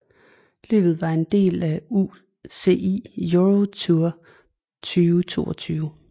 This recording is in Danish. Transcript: Løbet var en del af UCI Europe Tour 2022